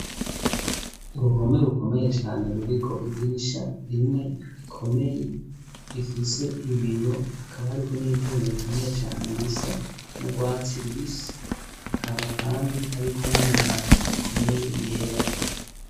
uruhome rukomeye cyane ruriko idirisha rimwe rikomeye rifise ibiyo hakaba hariko n'ivyuma bikomeye cyane bisa no gwatsi rubisi hakaba kandi hariko n'amabati akomeye yera